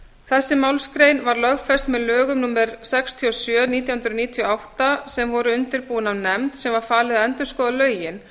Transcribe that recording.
þessi málsgrein var lögfest með lögum númer sextíu og sjö nítján hundruð níutíu og átta sem voru undirbúin af nefnd sem var falið að endurskoða lögin